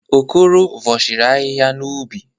Okoro vọshiri ahịhịa n'ubi.